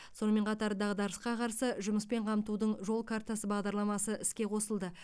сонымен қатар дағдарысқа қарсы жұмыспен қамтудың жол картасы бағдарламасы іске қосылды